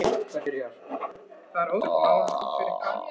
Og er þeim það skömm ef þeir fá geig af vopnum sínum.